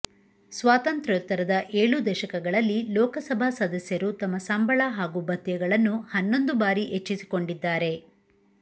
ಸ್ವಾತಂತ್ರ್ಯೋತ್ತರದ ಏಳೂ ದಶಕಗಳಲ್ಲಿ ಲೋಕಸಭಾ ಸದಸ್ಯರು ತಮ್ಮ ಸಂಬಳ ಹಾಗೂ ಭತ್ಯಗಳನ್ನು ಹನ್ನೊಂದು ಭಾರಿ ಹೆಚ್ಚಿಸಿಕೊಂಡಿದ್ದಾರೆ